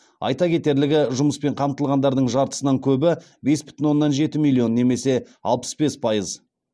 айта кетерлігі жұмыспен қамтылғандардың жартысынан көбі бес бүтін оннан жеті миллион немесе алпыс бес пайыз